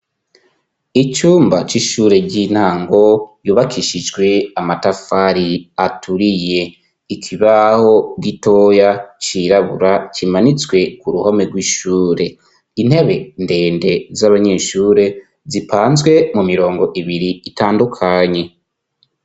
Icumba c'ishure ry'intango ryubakishijwe amatafari aturiye. Ikibaho gitoya cirabura kimanitswe k'uruhome rw'ishure. Intebe ndende z'abanyeshure zipanzwe mu mirongo ibiri itandukanye.